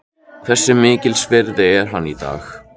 Hversu mikils virði er hann í dag?